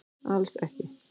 Alls ekki